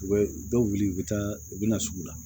U bɛ dɔw wuli u bɛ taa u bɛ na sugu la